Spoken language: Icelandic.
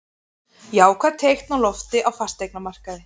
Jákvæð teikn á lofti á fasteignamarkaði